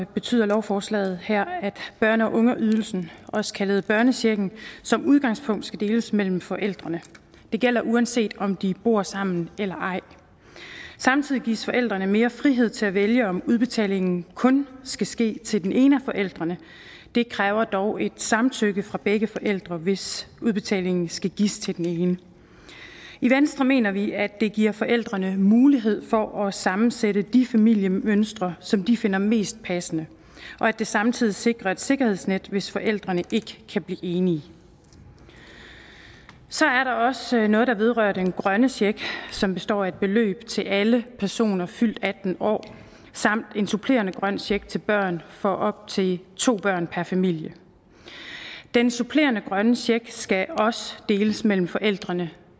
betyder lovforslaget her at børne og ungeydelsen også kaldet børnechecken som udgangspunkt skal deles mellem forældrene det gælder uanset om de bor sammen eller ej samtidig gives forældrene mere frihed til at vælge om udbetalingen kun skal ske til den ene af forældrene det kræver dog et samtykke fra begge forældre hvis udbetaling skal gives til den ene i venstre mener vi at det giver forældrene mulighed for at sammensætte de familiemønstre som de finder mest passende og at det samtidig sikrer et sikkerhedsnet hvis forældrene ikke kan blive enige så er der også noget der vedrører den grønne check som består af et beløb til alle personer fyldt atten år samt en supplerende grøn check til børn for op til to børn per familie den supplerende grønne check skal også deles mellem forældrene